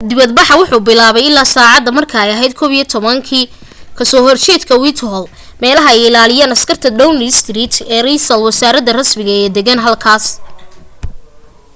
dibad baxa wuxuu bilaabmay ilaa sacaada marka ay aheyd 11:00 utc+1 ka soo horjeedka whitehall meelaha ay ilaaliyaan askarta downing street ee reesal wasaraha rasmiga ee degan halka